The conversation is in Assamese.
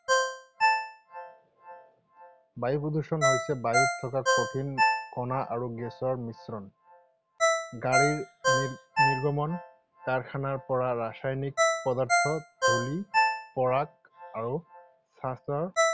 বায়ু প্ৰদূষণ হৈছে বায়ুত থকা কঠিন কণা আৰু গেছৰ মিশ্ৰণ। গাড়ীৰ নিৰ্গমন, কাৰখানাৰ পৰা ৰাসায়নিক পদাৰ্থ, ধূলি, পৰাগ আৰু ছাঁচৰ